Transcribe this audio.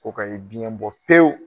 Ko ka ye biyɛn bɔ pewu